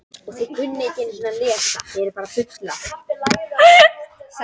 Dómstóllinn hafnaði óskum þeirra og því fara lögreglumennirnir væntanlega í verkfall.